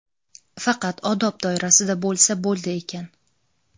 faqat odob doirasida bo‘lsa bo‘ldi ekan;.